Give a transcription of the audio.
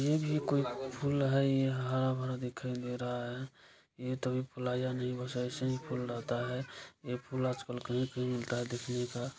ये भी कोई फूल है यहाँ दिखाई दे रहा है ये तो अभी फुलाया नहीं बस ऐसे ही फूल रहता है ये फूल आज-कल कहीं-कहीं मिलता है देखने का--